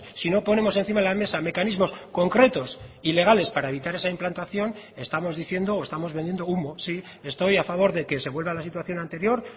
si no ponemos encima de la mesa mecanismos concretos y legales para evitar esa implantación estamos diciendo o estamos vendiendo humo sí estoy a favor de que se vuelva a la situación anterior